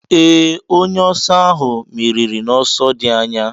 Ee, onye oso ahụ meriri n'ọsọ dị anya.